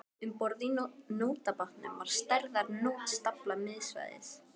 Um borð í nótabátnum var stærðar nót staflað miðsvæðis.